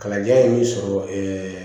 Kalandenya ye min sɔrɔ